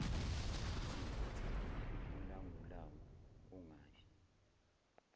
sivutha ubulangulangu kungabi